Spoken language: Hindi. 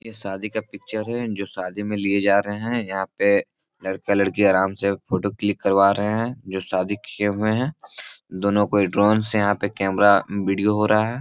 ये शादी का पिक्चर है जो शादी में लिए जा रहे हैं यहाँ पे लड़का-लड़की आराम से फोटो क्लिक करवा रहे हैं जो शादी किए हुए हैं दोनों कोई ड्रोन से यहाँ पर कैमरा वीडियो हो रहा है।